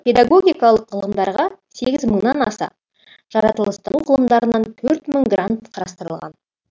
педагогикалық ғылымдарға сегіз мыңнан аса жаратылыстану ғылымдарына төрт мың грант қарастырылған